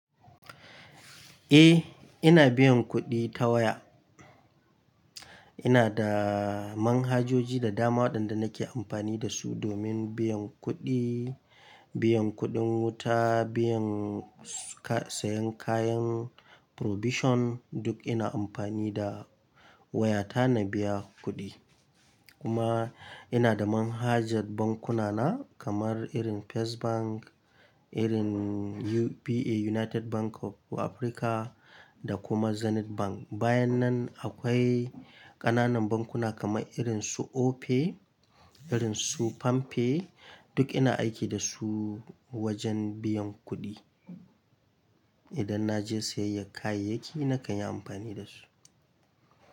Eh, ina biyan kuɗi ta waya. Ina da manhajoji da dama waɗanda nake amfani da su domin biyan kuɗi, biyan kuɗin wuta, biyan saƴan kayan provision, duk ina amfani da waya ta na biya kuɗi. Kuma ina da manhajar bankuna na kamar irin First Bank, irin UBA, United Bank of Africa da kuma Zenith Bank. Bayan nan akwai ƙananan bankuna kamar irin su Opay, irin su PamPay, duk ina aiki da su wajen biyan kuɗi. Idan na je sayayyar kayayyaki nakan yi amfani da su.